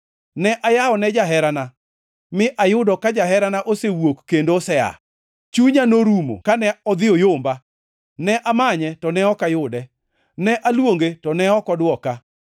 Ne ayawone jaherana, mi ayudo ka jaherana osewuok kendo osea! Chunya norumo kane odhi oyomba. Ne amanye, to ne ok ayude. Ne aluonge, to ne ok odwoka.